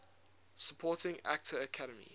supporting actor academy